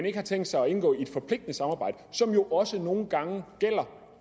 ikke har tænkt sig at indgå i et forpligtende samarbejde som jo også nogle gange gælder